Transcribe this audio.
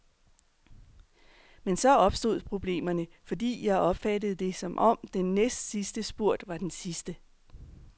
Men så opstod problemerne, fordi jeg opfattede det, som om den næstsidste spurt var den sidste.